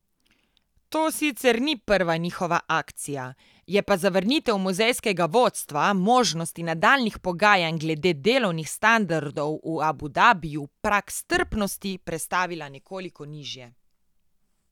To sicer ni prva njihova akcija, je pa zavrnitev muzejskega vodstva možnosti nadaljnjih pogajanj glede delovnih standardov v Abu Dabiju prag strpnosti prestavila nekoliko nižje.